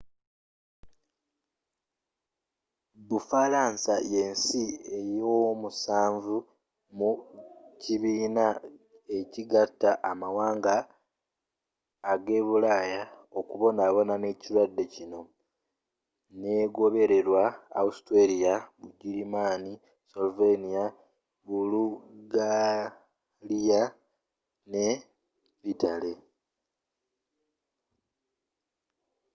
bufalansa ye nsi ey'omusanvu mu kibiina ekigatta amawanga ga bulaaya okubonabona n'ekirwadde kino ng'egoberera austria bugirimaani slovenia bulugaliya greece ne yitale